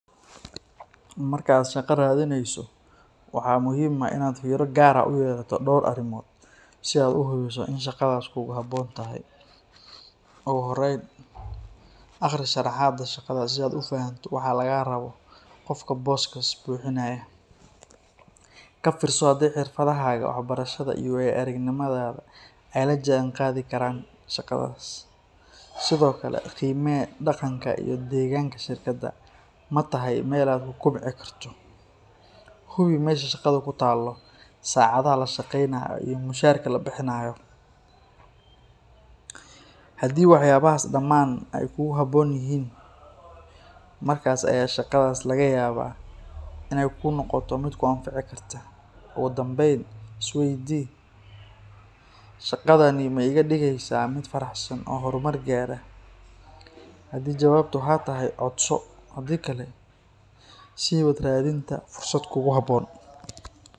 Marka aad shaqo raadineyso, waxaa muhiim ah inaad fiiro gaar ah u yeelato dhowr arrimood si aad u hubiso in shaqadaas kugu habboon tahay. Ugu horrayn, akhri sharraxaadda shaqada si aad u fahanto waxa laga rabo qofka booskaas buuxinaya. Ka fiirso haddii xirfadahaaga, waxbarashadaada iyo waayo-aragnimadaada ay la jaanqaadi karaan shaqadaas. Sidoo kale, qiimee dhaqanka iyo deegaanka shirkadda – ma tahay meel aad ku kobci karto? Hubi meesha shaqadu ku taallo, saacadaha la shaqeynayo iyo mushaarka la bixinayo. Haddii waxyaabahaas dhammaan ay kugu habboon yihiin, markaas ayaa shaqadaas laga yaabaa inay kuu noqoto mid ku anfici karta. Ugu dambayn, isweydii: “Shaadani ma iga dhigaysaa mid faraxsan oo horumar gaara?” Haddii jawaabtu haa tahay, codso. Haddii kale, sii wad raadinta fursad kugu habboon.